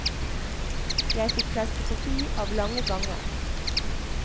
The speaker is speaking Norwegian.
Jeg fikk klaustrofobi av lange ganger.